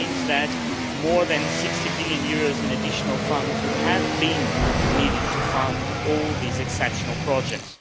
It means that more than EUR 60 billion in additional funds would have been needed to fund all these exceptional projects.